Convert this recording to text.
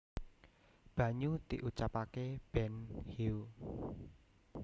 banyu diucapake benhyu